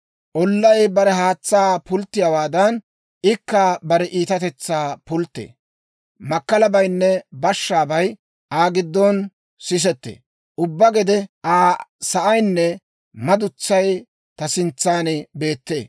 Ollay bare haatsaa pulttiyaawaadan, ikka bare iitatetsaa pulttee. Makkalabaynne bashshaabay Aa giddon sisettee. Ubbaa gede Aa sa'aynne madutsay ta sintsan beettee.